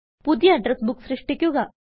പുതിയ address book സൃഷ്ടിക്കുക